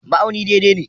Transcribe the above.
Ma'auni daidai ne.